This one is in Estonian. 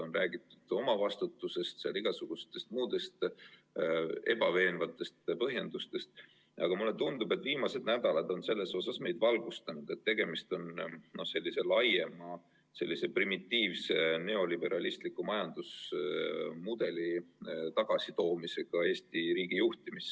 On räägitud omavastutusest, on igasuguseid muid ebaveenvaid põhjendusi, aga mulle tundub, et viimased nädalad on selles osas meid valgustanud, et tegemist on sellise laiema, sellise primitiivse neoliberalistliku majandusmudeli tagasitoomisega Eesti riigi juhtimisse.